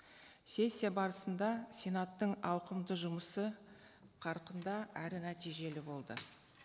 сессия барысында сенаттың ауқымды жұмысы қарқынды әрі нәтижелі болды